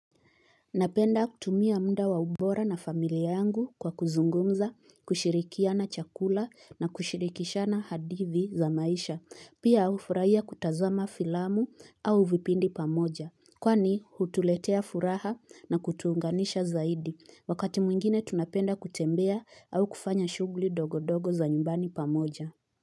Napenda kutumia muda wa ubora na familia yangu kwa kuzungumza, kushirikiana chakula na kushirikishana hadithi za maisha. Pia ufuraia kutazama filamu au vipindi pamoja. Kwani hutuletea furaha na kutuunganisha zaidi. Wakati mwingine tunapenda kutembea au kufanya shugli dogodogo za nyumbani pamoja.